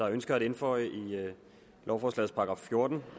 ønsker at indføje i lovforslagets § fjorten